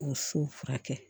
O so furakɛ